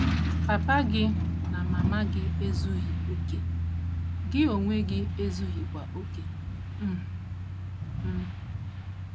Papa gị na mama gị ezughị okè. Gị onwe gị ezughịkwa okè um. um